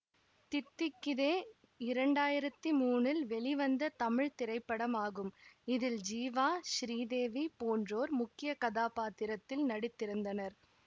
தித்திக்குதே இரண்டாயிரத்தி மூனில் வெளிவந்த தமிழ் திரைப்படமாகும் இதில் ஜீவா சிறீதேவி போன்றோர் முக்கிய கதாப்பாத்திரத்தில் நடித்திருந்தனர்